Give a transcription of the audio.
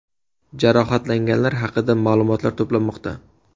Jarohatlanganlar haqida ma’lumot to‘planmoqda.